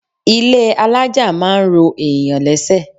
Ilé alájà máa ń ro èèyàn lẹ́sẹ̀.